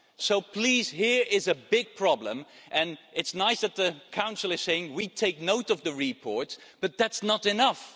So please, here is a big problem and it's nice that the Council is saying we take note of the report', but that's not enough.